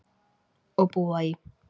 Og búa í